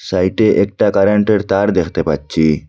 সাইডে একটা কারেন্টের তার দেখতে পাচ্ছি।